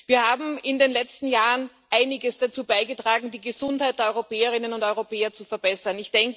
Wir haben in den letzten Jahren einiges dazu beigetragen, die Gesundheit der Europäerinnen und Europäer zu verbessern.